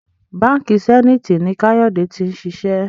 Bánkì Zenith ní Kayode t'in ṣiṣẹ